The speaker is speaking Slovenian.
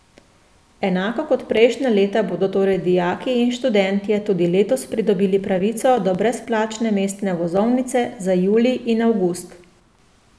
Enako kot prejšnja leta bodo torej dijaki in študentje tudi letos pridobili pravico do brezplačne mestne vozovnice za julij in avgust.